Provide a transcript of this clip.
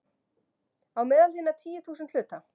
Á meðal hinna tíu þúsund hluta.